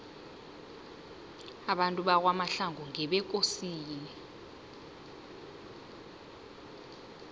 abantu bakwamahlangu ngebekosini